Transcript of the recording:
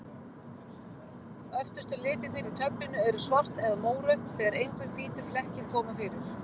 Öftustu litirnir í töflunni eru svart eða mórautt, þegar engir hvítir flekkir koma fyrir.